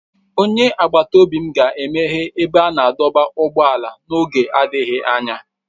Onye agbata obi m ga-emeghe ebe a na-adọba ụgbọala n'oge adịghị anya.